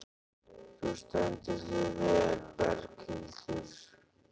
Þú stendur þig vel, Berghildur!